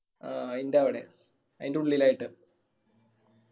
ആ അയിന്റെ അവിടെ അയിന്റെ ഉള്ളിലായിട്ട്